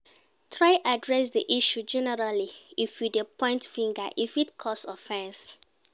Try address di issue generally if you de point fingers e fit cause offense